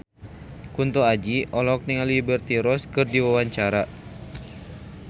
Kunto Aji olohok ningali Liberty Ross keur diwawancara